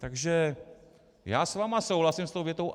Takže já s vámi souhlasím, s tou větou.